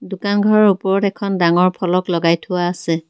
দোকান ঘৰৰ ওপৰত এখন ডাঙৰ ফলক লগাই থোৱা আছে।